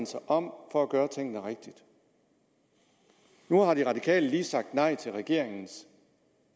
sig om for at gøre tingene rigtigt nu har de radikale lige sagt nej til regeringens